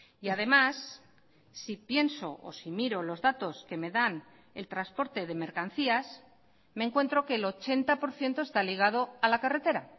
y además si pienso o si miro los datos que me dan el transporte de mercancías me encuentro que el ochenta por ciento está ligado a la carretera